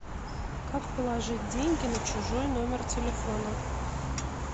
как положить деньги на чужой номер телефона